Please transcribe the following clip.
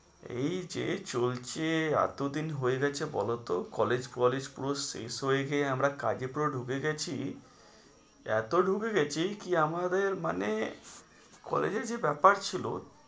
এই যে চলছে এতদিন হয়ে গেছে বলোতো college ফলেজ পুরো শেষ হয়ে গিয়ে আমরা কাজে পুরো ঢুবে গেছি এতো ঢুবে গেছি কি আমাদের মানে college এর যে ব্যাপার ছিল